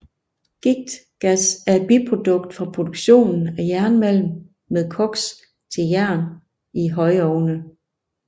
Giktgas er et biprodukt fra reduktionen af jernmalm med koks til jern i højovne